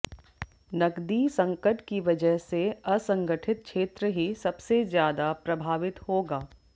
नकदी संकट की वजह से असंगठित क्षेत्र ही सबसे ज्यादा प्रभावित होगा